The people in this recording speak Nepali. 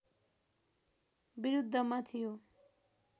बिरुद्धमा थियो